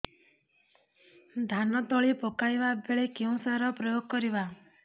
ଧାନ ତଳି ପକାଇବା ବେଳେ କେଉଁ ସାର ପ୍ରୟୋଗ କରିବା